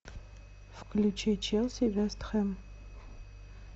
включи челси вест хэм